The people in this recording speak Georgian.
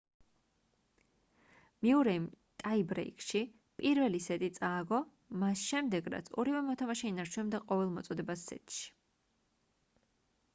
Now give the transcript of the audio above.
მიურეიმ ტაიბრეიკში პირველი სეტი წააგო მას შემდეგ რაც ორივე მოთამაშე ინარჩუნებდა ყოველ მოწოდებას სეტში